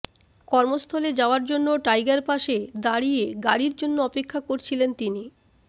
কর্মস্থলে যাওয়ার জন্য টাইগারপাসে দাঁড়িয়ে গাড়ির জন্য অপেক্ষা করছিলেন তিনি